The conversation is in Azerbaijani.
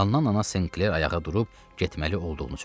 Hannan anası Senkler ayağa durub getməli olduğunu söylədi.